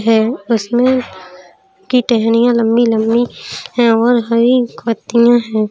है उसमे की टहनियाँ लम्बी लम्बी है और हरी पतिया है।